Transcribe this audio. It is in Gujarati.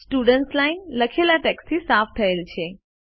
સ્ટુડન્ટ્સ લાઇન લખેલા ટેક્સ્ટથી સાફ થયેલ છે